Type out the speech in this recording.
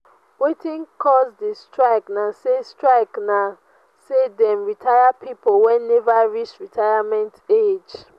wetin cause di strike na sey strike na sey dem retire pipo wey neva reach retirement age.